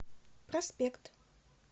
проспект